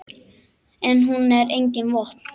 En hún á engin vopn.